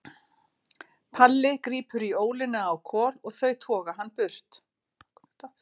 Palli grípur í ólina á Kol og þau toga hann burt.